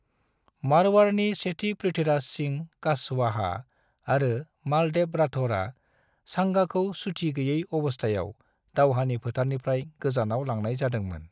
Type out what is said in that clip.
मारवाड़नि सेथि पृथ्वीराज सिंह कछवाहा आरो मालदेव राठौरआ सांगाखौ सुथि गैयै अबस्थायाव दावहानि फोथारनिफ्राय गोजानाव लांनाय जादोंमोन।